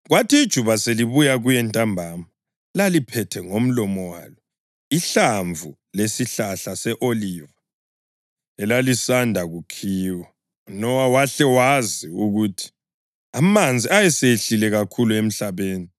Kwathi ijuba selibuya kuye ntambama, laliphethe ngomlomo walo ihlamvu lesihlahla se-oliva elalisanda kukhiwa! UNowa wahle wazi ukuthi amanzi ayesehlile kakhulu emhlabeni.